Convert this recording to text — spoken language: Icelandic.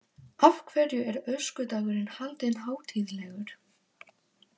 Af hverju er öskudagurinn haldinn hátíðlegur?